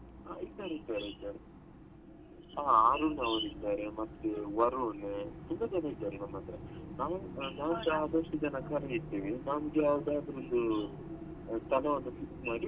ಹಾ ಇದ್ದಾರೆ ಇದ್ದಾರೆ ಇದ್ದಾರೆ ಆ ಅರುಣ್ ಅವ್ರು ಇದ್ದಾರೆ ಮತ್ತೆ ವರುಣ್ ತುಂಬಾ ಜನ ಇದ್ದಾರೆ ನಮ್ಮತ್ರ ನಮ್ಗೆ ಆದಷ್ಟು ಜನ ನಾವ್ ಕರೀತೀವಿ ನಮಗೆ ಯಾವ್ದಾದ್ರು ಒಂದು ಸ್ಥಳ ಒಂದು fix ಮಾಡಿ.